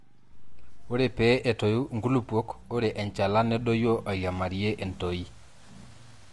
ore pee etoyu inkulupuok, ore enchalan nedoyio airiamariyie entoyiei